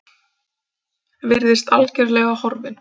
Virðist algerlega horfinn.